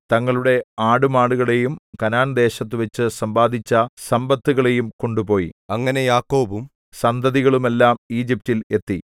തങ്ങളുടെ ആടുമാടുകളെയും കനാൻദേശത്തുവച്ചു സമ്പാദിച്ച സമ്പത്തുകളെയും കൊണ്ടുപോയി അങ്ങനെ യാക്കോബും സന്തതികളുമെല്ലാം ഈജിപ്റ്റിൽ എത്തി